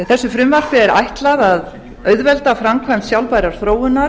þessu frumvarpi er ætlað að auðvelda framkvæmd sjálfbærrar þróunar